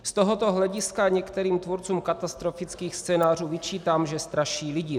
Z tohoto hlediska některým tvůrcům katastrofických scénářů vyčítám, že straší lidi.